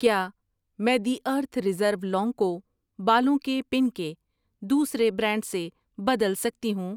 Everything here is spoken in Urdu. کیا میں دی ارتھ ریزرو لونگ کو بالوں کے پن کے دوسرے برانڈ سے بدل سکتی ہوں؟